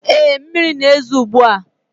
Ee, mmiri na-ezo ugbu a.